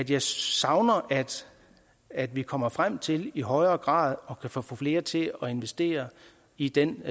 jeg savner at at vi kommer frem til i højere grad at kunne få flere til at investere i den